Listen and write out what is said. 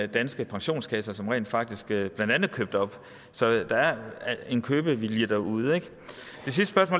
danske pensionskasser som rent faktisk blandt andet købte op så der er en købevilje derude ikke